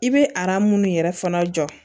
I bɛ ara minnu yɛrɛ fana jɔ